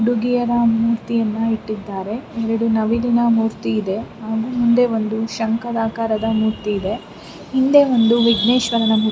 ಹುಡುಗಿಯರ ಮೂರ್ತಿಯನ್ನು ಇಟ್ಟಿದ್ದಾರೆ ಎರಡು ನವಿಲಿನ ಮೂರ್ತಿ ಇದೆ ಹಿಂದೆ ಒಂದು ಶಂಖದ ಆಕಾರದ ಮೂರ್ತಿ ಇದೆ ಹಿಂದೆ ಒಂದು ವಿಜ್ಞೇಶ್ವರನ ಮೂರ್ತಿ--